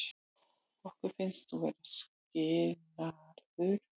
Okkur finnst þú vera, skilurðu.